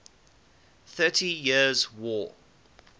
thirty years war